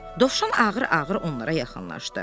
Dovşan ağır-ağır onlara yaxınlaşdı.